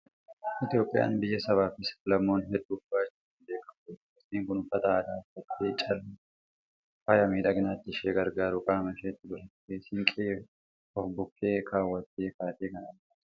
Itoophiyaan biyya sabaa fi sab-lammoota hedduu qabaachuudhaan beekamtudha. Dubartiin kun uffata aadaa uffattee, callee akka mi'a faaya miidhaginaatti ishee gargaaru qaama isheetti godhattee, siinqee of bukkee kaawwattee kaatee kan argamtudha.